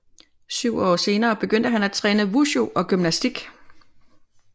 Syv år senere begyndte han også at træne Wushu og gymnastik